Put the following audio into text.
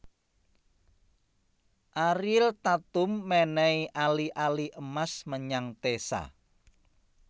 Ariel Tatum menehi ali ali emas menyang Teza